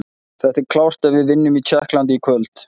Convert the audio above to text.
Þetta er klárt ef við vinnum í Tékklandi í kvöld.